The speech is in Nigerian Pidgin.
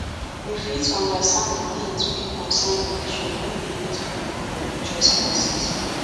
we fit undersand the things wey concern religion when we meet pipo for religious classes